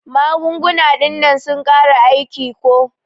Magunguna dinnan sun kare aiki ko.